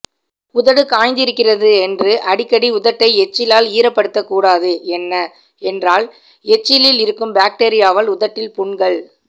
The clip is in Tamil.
உதடு காய்ந்திருக்கிறது என்று அடிக்கடி உதட்டை எச்சிலால் ஈரப்படுத்தக்கூடாது என்ன என்றால் எச்சிலில் இருக்கும் பாக்டீரியாவால் உதட்டில் புண்கள்